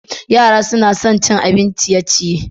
Yara na son cin abin ciye-ciye.